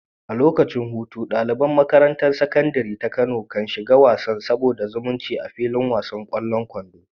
A lokacin hutu, ɗaliban makarantar Sakandare ta Kano kan shiga wasan sada zumunci a filin wasan ƙwallon kwando.